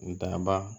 N daba